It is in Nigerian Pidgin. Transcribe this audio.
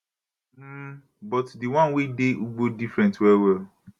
um but di one wey dey ugbo different well well